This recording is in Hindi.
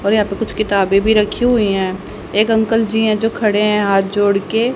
और यहां पे कुछ किताबें भी रखी हुई है। एक अंकल जी है जो खड़े है हाथ जोड़ के।